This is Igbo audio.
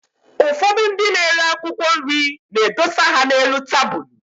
Ụfọdụ ndị na-ere akwụkwọ nri na-edosa ha n'elu tabụlụ.